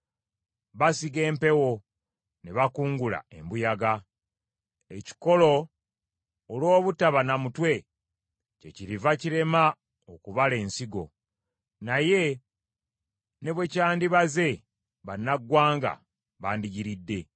“Basiga empewo, ne bakungula embuyaga. Ekikolo olw’obutaba na mutwe, kyekiriva kirema okubala ensigo. Naye ne bwe kyandibaze, bannaggwanga bandigiridde.